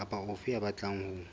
kapa ofe ya batlang ho